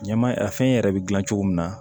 Ɲaman a fɛn yɛrɛ bɛ gilan cogo min na